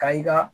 Ka i ka